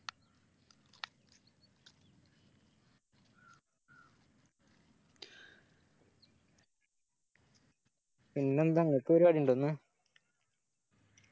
പിന്നെന്താ നിനക്ക് പരിപാടിണ്ടോ ഇന്ന്